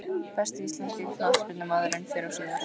Besti íslenski knattspyrnumaðurinn fyrr og síðar?